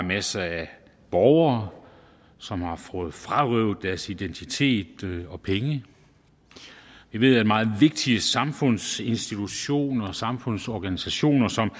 masser af borgere som har fået frarøvet deres identitet og penge vi ved at meget vigtige samfundsinstitutioner og samfundsorganisationer som